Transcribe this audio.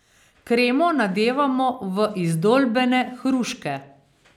Kremo nadevamo v izdolbene hruške.